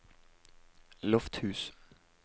Lofthus